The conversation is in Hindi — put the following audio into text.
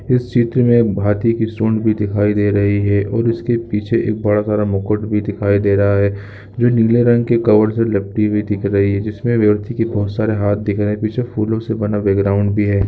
इस चित्र मे हाथी की सूंड भी दिखाई दे रही है और उसके पीछे बड़ा स मुकुट भी दिखाई दे रहा है जो नीले रंग की कवर से लिपटी हुई दिख रही है जिसमे हाथी के बोहोत सारे हाथ दिख रहे है पीछे फूलों से बना बैकग्राउन्ड भी है।